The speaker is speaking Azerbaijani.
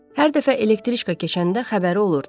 Hər dəfə elektriçka keçəndə xəbəri olurdu.